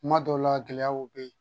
Kuma dɔw la gɛlɛyaw be yen